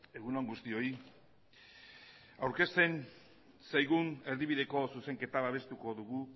egun on guztioi aurkezten zaigun erdibideko zuzenketa babestuko dugu